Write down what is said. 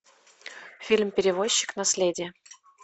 фильм перевозчик наследие